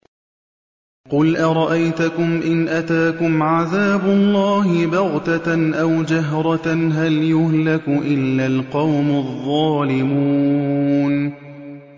قُلْ أَرَأَيْتَكُمْ إِنْ أَتَاكُمْ عَذَابُ اللَّهِ بَغْتَةً أَوْ جَهْرَةً هَلْ يُهْلَكُ إِلَّا الْقَوْمُ الظَّالِمُونَ